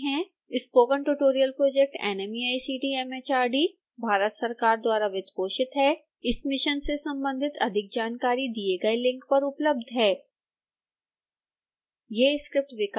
spoken tutorial project nmeict mhrd Bharat सरकार द्वारा वित्तपोषित है इस मिशन से संबंधित अधिक जानकारी दिए गए लिंक पर उपलब्ध है